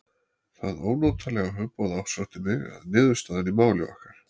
Það ónotalega hugboð ásótti mig að niðurstaðan í máli okkar